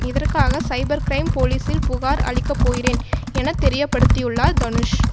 இதற்காக cyber crime போலீஸில் புகார் அளிக்கப்போகிறேன் என தெரிய படுத்தியுள்ளார் தனுஷ்